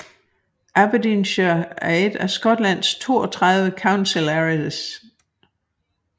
Aberdeenshire er en af Skotlands 32 Council areas